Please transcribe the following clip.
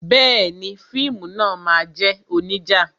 Bẹẹni, fíìmù náà máa jẹ́ onija